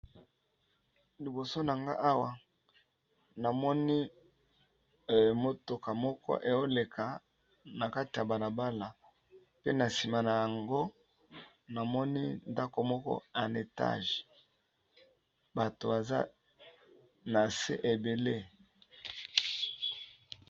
Liboso na nga awa, na moni motuka moko eoleka na kati ya balabala. Pe na nsima na yango, namoni ndako moko en etage bato baza na se ebele.